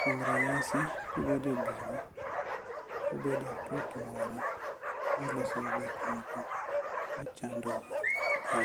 Kwom ranyisi, kubede bura, ubede aput moro muloso go gik moko machandou e